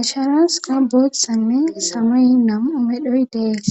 asharas qa botsame samay nam'u medhoy dees.